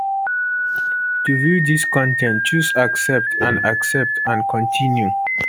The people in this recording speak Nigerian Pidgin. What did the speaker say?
to view dis con ten t choose accept and accept and continue